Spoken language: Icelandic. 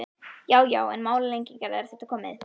Já já, engar málalengingar, er þetta komið?